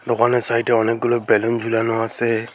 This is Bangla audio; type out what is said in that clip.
দোকানের সাইড -এ অনেকগুলো বেলুন ঝুলানো আসে।